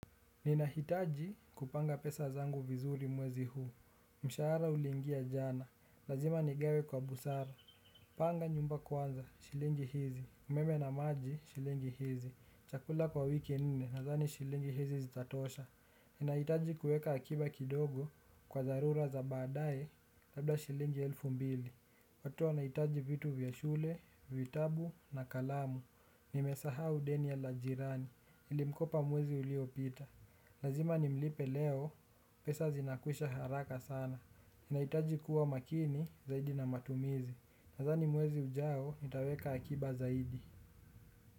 Ninahitaji kupanga pesa zangu vizuri mwezi huu. Mshahara uliingia jana, lazima nigawe kwa busara panga nyumba kwanza, shilingi hizi, umeme na maji shilingi hizi, chakula kwa wiki nine nadhani shilingi hizi zitatosha. Ninahitaji kuweka akiba kidogo kwa dharura za baadae, labda shilingi elfu mbili. Watoto wanahitaji vitu vya shule, vitabu na kalamu, nimesahau deni la jirani, nilimkopa mwezi uliopita. Lazima ni mlipe leo, pesa zinakwisha haraka sana. Nahitaji kuwa makini zaidi na matumizi. Nadhani mwezi ujao, nitaweka akiba zaidi.